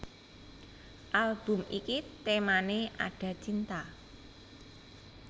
Album iki temané Ada Cinta